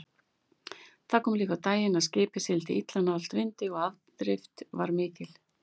Það kom líka á daginn að skipið sigldi illa nálægt vindi og afdrift var mikil.